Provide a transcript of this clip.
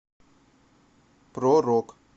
про рок